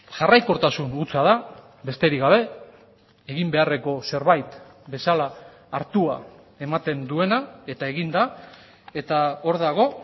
jarraikortasun hutsa da besterik gabe egin beharreko zerbait bezala hartua ematen duena eta egin da eta hor dago